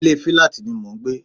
Ilé filati ni mò ń gbé